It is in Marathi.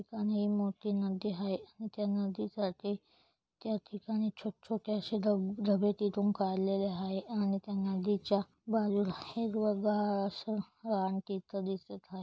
ठिकाणी हि मोठी नदी हाय त्या नदीकाठी छोट छोटे अशे धब धबे तिथून काढलेले आहे आणि त्या नदीच्या बाजूला असं दिसत हाय.